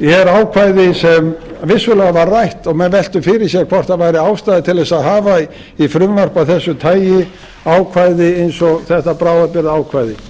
er ákvæði sem vissulega var rætt og menn veltu fyrir sér hvort væri ástæða til þess að hafa í frumvarpi af þessu tagi ákvæði eins og þetta bráðabirgðaákvæði